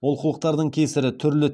олқылықтардың кесірі түрлі